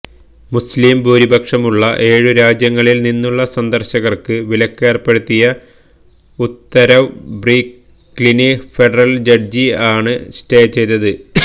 മുസ്ലിം ഭൂരിപക്ഷമുള്ള ഏഴു രാജ്യങ്ങളില് നിന്നുള്ള സന്ദര്ശകര്ക്ക് വിലക്കേര്പ്പെടുത്തിയ ഉത്തരവ് ബ്രൂക്ക്ലിന് ഫെഡറല് ജഡ്ജി ആണ് സ്റ്റേ ചെയ്തത്